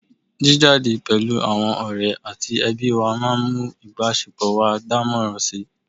jíjáde pẹ̀lú àwọn ọ̀rẹ́ àti ẹbí wa máa ń mú ìbásepọ̀ wa dánmọ́nrán si